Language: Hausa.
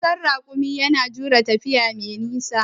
An san raƙumi da jure tafiya mai nisa.